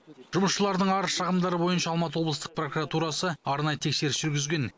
жұмысшылардың арыз шағымдары бойынша алматы облыстық прокуратурасы арнайы тексеріс жүргізген